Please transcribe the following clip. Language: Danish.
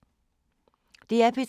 DR P3